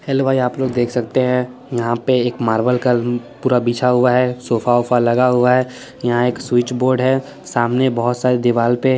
hello भाई आप लोग देख सकते हैं यहाँ पे एक मार्बल का पूरा बिछा हुआ है सोफा ओफा लगा हुआ है यहाँ एक स्विच बोर्ड है सामने बहुत सारी दीवाल पे--